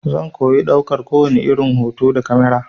Zan koya ɗaukar kowani irin hoto da kamara.